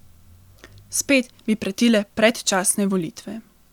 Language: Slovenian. Spet bi pretile predčasne volitve.